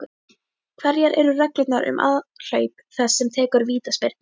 Hverjar eru reglurnar um aðhlaup þess sem tekur vítaspyrnu?